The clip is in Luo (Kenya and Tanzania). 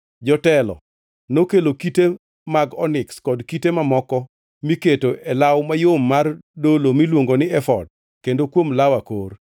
Jotelo nokelo kite mag oniks kod kite mamoko miketo e law mayom mar dolo miluongo ni efod kendo kuom law akor.